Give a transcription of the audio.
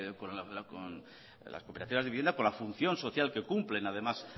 que con las cooperativas de vivienda con la función social que cumplen además